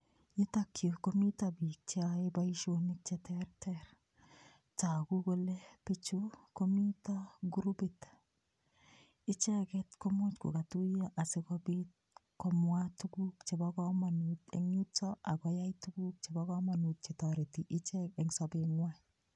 Yutok yu komito biik cheyae boisionik cheterter. Tagu kole biichu komito kurupit. Icheget kimuch kogatuiyo asigopit komwa tuguk chebo kamanut eng yuto ak koyai tuguk chebo kamanut chetoreti ichek eng sobengwai.